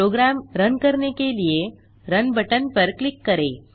programme run करने के लिए रुन बटन पर क्लिक करें